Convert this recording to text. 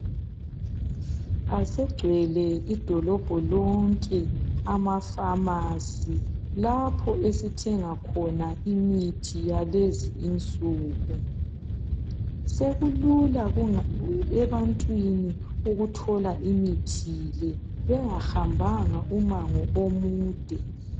Asegcwele idolobho lonke ama pharmacy lapho esithenga khona imithi yalezi insuku, sekulula ebantwini ukuthola imithi le bengahambanga umango omude